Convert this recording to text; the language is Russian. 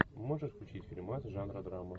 можешь включить фильмас жанра драма